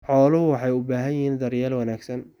Xooluhu waxay u baahan yihiin daryeel wanaagsan.